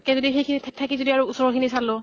তাত্কে যদি সেইখিনিত থাকি ওচৰৰ খিনি চালো